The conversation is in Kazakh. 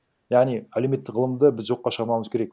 яғни әлеуметтік ғылымды біз жоққа шығармауымыз керек